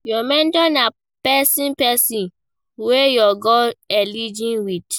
Your mentor na person person wey your goals align with